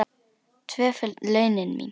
Tvöföld launin mín.